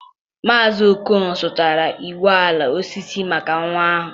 Maazị Okon zụtara ụgbọ ala osisi maka nwa ahụ.